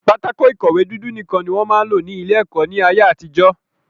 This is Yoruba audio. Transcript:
Pátákó ìkọ̀wé dúdú nìkan ni wọ́n máa ń lò ní ilé-ẹ̀kọ́ ní ayé-àtijọ́.